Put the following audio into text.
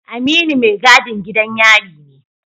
Aminu mai gadin gidan yari ne